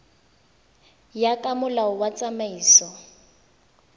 ya ka molao wa tsamaiso